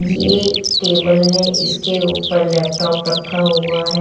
ये टेबल है इसके ऊपर लैपटॉप रखा हुआ है।